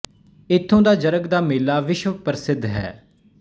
ਇਥੋਂ ਦਾ ਜਰਗ ਦਾ ਮੇਲਾ ਵਿਸ਼ਵ ਪ੍ਰਸਿੱਧ ਹੈ